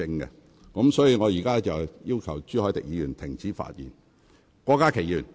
因此，我現在請朱凱廸議員停止發言。